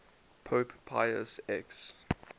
pope pius x